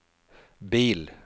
bil